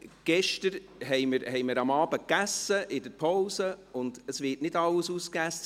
Gestern assen wir am Abend in der Pause, und es wurde nicht alles aufgegessen.